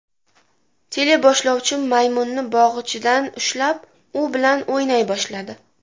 Teleboshlovchi maymunni bog‘ichidan ushlab, u bilan o‘ynay boshladi.